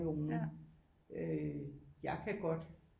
Nogen øh jeg kan godt